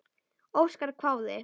Óskar hváði.